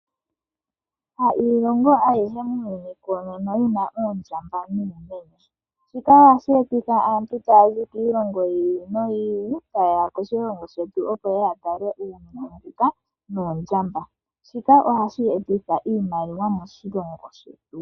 Kayishi iilonga aihe koonono yina oondjamba nuumenye . Shika ohashi etitha aantu taya zi kiilongo yiili noyili , tayeya koshilongo shetu opo yeye yatale iinamwenyo mbika noondjamba, shika ohashi etitha iimaliwa moshilongo shetu.